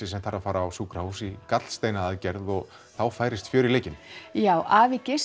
sem þarf að fara á sjúkrahús í og þá færist fjör í leikinn já afi